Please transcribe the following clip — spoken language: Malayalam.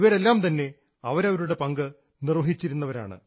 ഇവരെല്ലാം തന്നെ അവരവരുടെ പങ്ക് നിർവ്വഹിച്ചിരുന്നവരാണ്